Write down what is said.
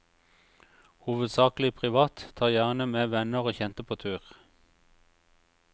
Hovedsakelig privat, tar gjerne med venner og kjente på tur.